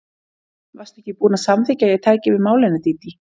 Varstu ekki búin að samþykkja að ég tæki við málinu, Dídí?